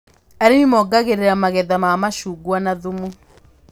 Arĩmi mongagĩrĩra magetha ma macungwa na thumu